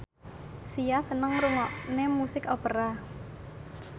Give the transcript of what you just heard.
Sia seneng ngrungokne musik opera